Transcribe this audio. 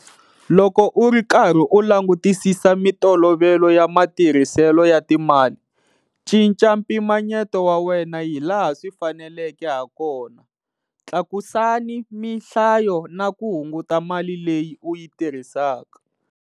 Loko u ri karhi u langutisisa mitolovelo ya matirhiselo ya timali, cinca mpimanyeto wa wena hi laha swi faneleke hakona, tlakusani mihlayiso na ku hunguta mali leyi u yi tirhisaka.